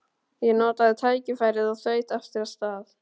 Ég notaði tækifærið og þaut aftur af stað.